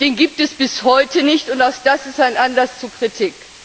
Den gibt es bis heute nicht, und auch das ist ein Anlass zu Kritik.